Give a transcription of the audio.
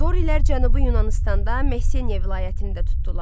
Dorilər Cənubi Yunanıstanda Messeniya vilayətini də tutdular.